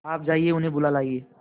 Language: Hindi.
आप जाइए उन्हें बुला लाइए